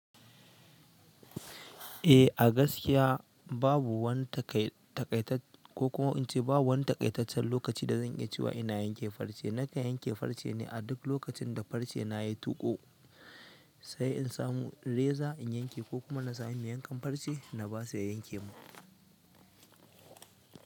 Eh a gaskiya babu wani t babu wani taƙaitaccen lokaci da zan iya cewa ina yanke farce. Nata yanke farce ne a duk lokacin da farce na ya tuƙo, sai in samu reza in yanke ko kuma na sami mai yankan farce na basu ya yanke mun.